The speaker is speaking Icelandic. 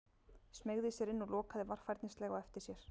Smeygði sér inn og lokaði varfærnislega á eftir sér.